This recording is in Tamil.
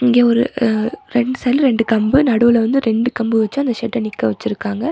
இங்க ஒரு ரெண்டு சைடுல ரெண்டு கம்பு நடுவுல வந்து ரெண்டு கம்பு வச்சி ஷெட் நிக்க வச்சிருக்காங்க.